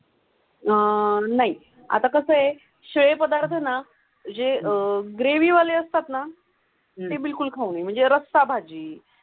आह नाही आता कसं आहे श्रेय पदार्थांना जे अह ग्रेव्हीवाले असतात ना बिलकुल खाऊ म्हणजे रस्सा भाजी.